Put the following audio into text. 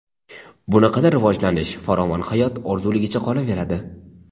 Bunaqada rivojlanish, farovon hayot orzuligicha qolaveradi.